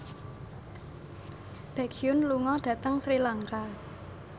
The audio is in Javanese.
Baekhyun lunga dhateng Sri Lanka